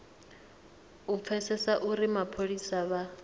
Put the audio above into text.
u pfesesa uri mapholisa vha